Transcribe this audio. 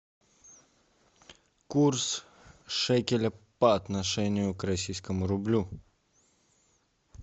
курс шекеля по отношению к российскому рублю